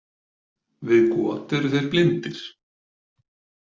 Við got eru þeir blindir.